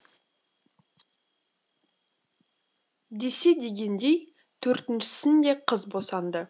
десе дегендей төртіншісін де қыз босанды